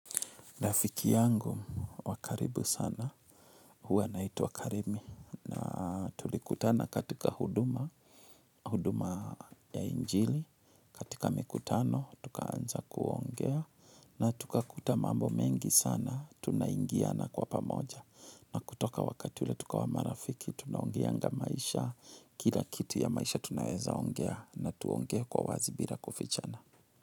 Rafiki yangu wa karibu sana huwa anaitwa Karemi na tulikutana katika huduma, huduma ya injili, katika mikutano tukaanza kuongea na tukakuta mambo mengi sana, tunaingiana kwa pamoja na kutoka wakati ule tukawa marafiki tunaongeanga maisha, kila kitu ya maisha tunaweza ongea na tuongee kwa wazi bila kufichana.